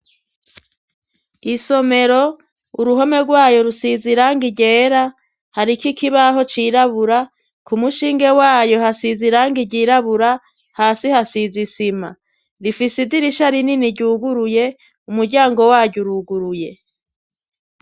Isomero uruhome rwayo rusiz' irangi ryera harik' ikibaho cirabura ,ku mushinge wayo hasiz' irangi ryirabura ,hasi hasiz' isima, rifise idirisha rinini ryuguruye ,umuryango wary' uruguruye